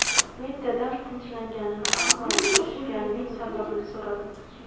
Men dadam tinchlanganini, ammo nega urishganining sababini so‘radim.